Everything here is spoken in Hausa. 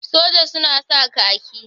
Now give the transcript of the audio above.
Soja suna sa khaki.